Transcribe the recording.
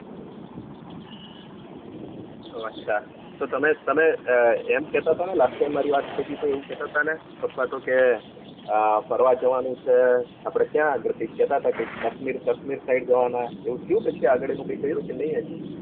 ઓ અચ્છા તો તમે તમે એમ કે તા તા ને last time મારી વાત થયીતી એવું કે તા તા ને પપ્પા તો કે અમ ફરવા જવાનું છે આપડે ક્યાં આગળ કૈક કેતાતા કૈક કશ્મીર કશ્મીર side જવાના એવું થયું પછી આગળ કઈ કર્યું કે નહિ હજુ